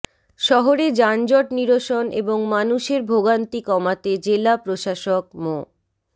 শহরে যানজট নিরসন এবং মানুষের ভোগান্তি কমাতে জেলা প্রশাসক মো